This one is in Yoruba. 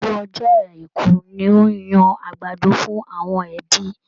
Gbogbo ọjọ́ àìkú ni ó ń yan àgbàdo fún àwọn ẹbí.